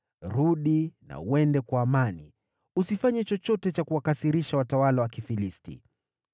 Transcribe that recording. Rudi na uende kwa amani; usifanye chochote cha kuwakasirisha watawala wa Kifilisti.”